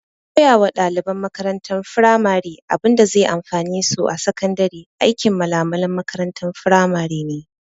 Koya wa ɗaliban makarantar firamare abinda zai amfane su a sakandare aikin malamalan firamare ne